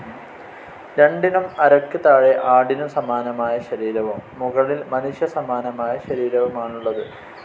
രണ്ടിനും അരക്ക് താഴെ ആടിനു സമാനമായ ശരീരവും മുകളിൽ മനുഷ്യ സമാനമായ ശരീരവുമാണുള്ളത്.